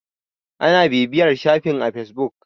ana bibiyar shafin a fesbuk